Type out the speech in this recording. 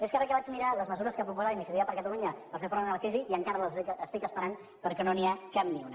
més que re que vaig mirar les mesures que ha proposat iniciativa per catalunya per fer front a la crisi i encara les estic esperant perquè no n’hi ha cap ni una